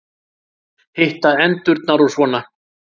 Hitta endurnar og svona.